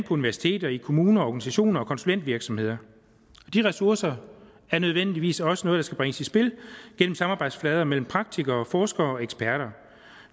universiteter i kommuner organisationer og konsulentvirksomheder de ressourcer er nødvendigvis også noget der skal bringes i spil gennem samarbejdsflader mellem praktikere forskere og eksperter